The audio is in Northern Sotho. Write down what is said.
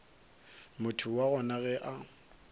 motho wa gona ge a